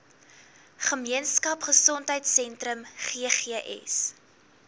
gemeenskap gesondheidsentrum ggs